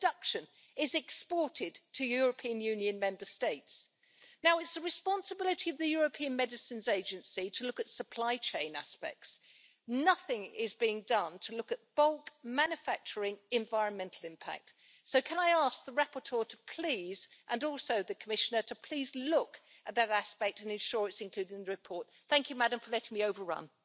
Están a punto, porque hemos llegado a un acuerdo en los dos diálogos a tres bandas, el Reglamento de medicamentos veterinarios y el de piensos medicamentosos, y se va a producir un gran avance con estos Reglamentos. Además, hemos aprobado en esta legislatura también un Reglamento sobre sanidad animal. Por tanto, en los últimos años se ha producido